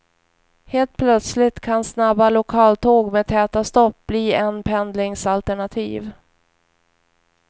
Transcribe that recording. Helt plötsligt kan snabba lokaltåg med täta stopp bli en pendlingsalternativ.